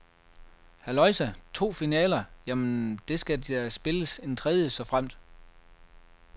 Halløjsa, to finaler, jamen, der skal da spilles en tredje, såfremt.